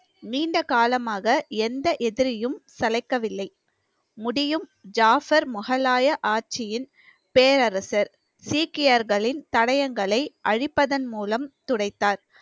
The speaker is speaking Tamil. நீண்ட காலமாக எந்த எதிரியும் சளைக்கவில்லை முடியும் ஜாஃபர் முகலாய ஆட்சியின் பேரரசர் சீக்கியர்களின் தடயங்களை அழிப்பதன் மூலம் துடைத்தார்